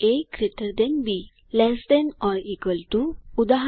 A GT b less than or equal to ઉદા